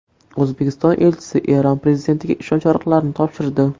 O‘zbekiston elchisi Eron prezidentiga ishonch yorliqlarini topshirdi.